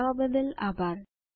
જોડાવા બદ્દલ આભાર